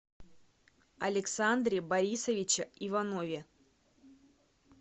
александре борисовиче иванове